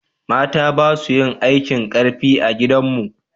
mata basu yin aikin karfi a gidan mu